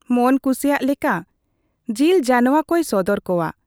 ᱢᱚᱱ ᱠᱩᱥᱤᱭᱟᱜ ᱞᱮᱠᱟ ᱡᱤᱞ ᱡᱟᱱᱶᱟ ᱠᱚᱭ ᱥᱚᱫᱚᱨ ᱠᱚᱣᱟ ᱾